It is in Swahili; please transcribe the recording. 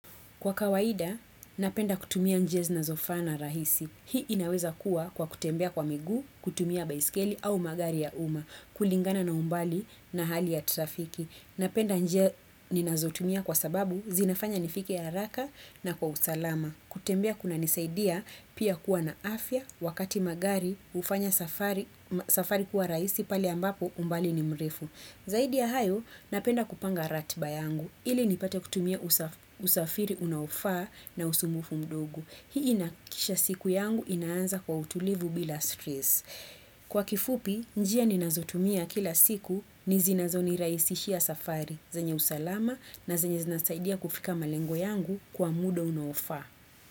Kwa kawaida, napenda kutumia njia zinazofaa na rahisi. Hii inaweza kuwa kwa kutembea kwa miguu, kutumia baiskeli au magari ya umma. Kulingana na umbali na hali ya trafiki. Napenda njia ninazotumia kwa sababu zinafanya nifike haraka na kwa usalama. Kutembea kuna nisaidia pia kuwa na afya wakati magari ufanya safari kuwa rahisi pale ambapo umbali ni mrefu. Zaidi ya hayo, napenda kupanga ratba yangu, ili nipate kutumia usafiri unaofaa na usumbufu mdogo. Hii inaakikisha siku yangu inaanza kwa utulivu bila stress. Kwa kifupi, njia ni nazotumia kila siku ni zinazoni raisishia safari, zenye usalama na zenye zinasaidia kufika malengo yangu kwa muda unaofaa.